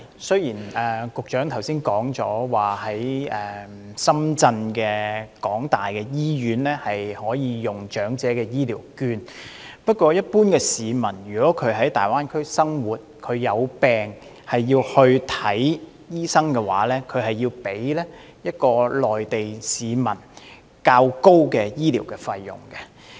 雖然局長剛才指出，香港市民可以在香港大學深圳醫院使用長者醫療券，但一般市民在大灣區生活時患病並需要求醫的話，他們須付上較內地市民為高的醫療費用。